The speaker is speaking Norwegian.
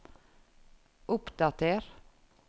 oppdater